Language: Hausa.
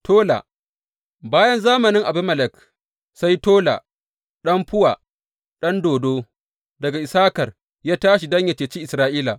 Tola Bayan zamanin Abimelek, sai Tola ɗan Fuwa ɗan Dodo daga Issakar ya tashi don yă ceci Isra’ila.